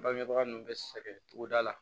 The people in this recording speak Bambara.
Bagebaga nun be sɛgɛn togoda la